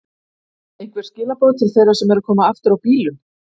Einhver skilaboð til þeirra sem eru að koma aftur á bílum?